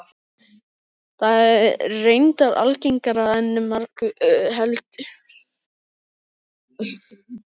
Það er reyndar algengara en margur heldur.